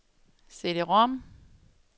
CD-rom